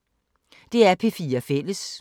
DR P4 Fælles